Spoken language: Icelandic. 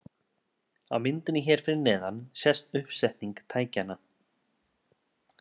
Á myndinni hér fyrir neðan sést uppsetning tækjanna.